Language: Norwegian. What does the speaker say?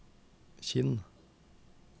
Kinn